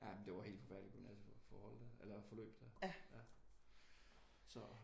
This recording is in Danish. Jamen det var helt forfærdeligt gymnasieforhold eller forløb der så